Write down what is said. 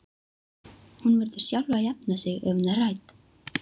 Hún verður sjálf að jafna sig ef hún er hrædd.